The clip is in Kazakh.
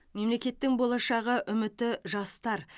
мемлекеттің болашағы үміті жастар